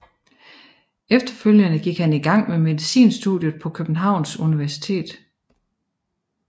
Efterfølgende gik han i gang med medicinstudiet på Københavns Universitet